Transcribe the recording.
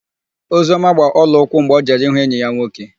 Ozioma gbaa ọlaụkwụ mgbe ọ jere ịhụ enyi ya nwoke.